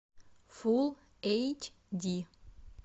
фулл эйч ди